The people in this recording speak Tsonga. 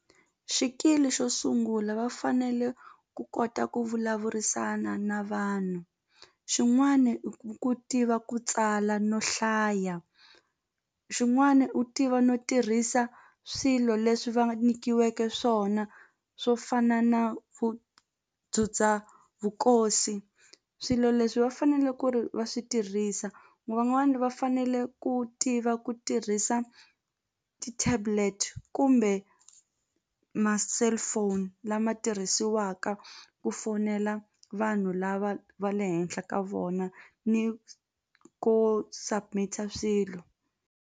Xikili xo sungula va fanele ku kota ku vulavurisana na vanhu xin'wani i ku tiva ku tsala no hlaya xin'wani u tiva no tirhisa swilo leswi va nyikiweke swona swo fana na ku vukosi swilo leswi va fanele ku ri va swi tirhisa van'wani va fanele ku tiva ku tirhisa ti-tablet kumbe ma-cellphone lama tirhisiwaka ku fonela vanhu lava va le henhla ka vona ni ku submit-a swilo.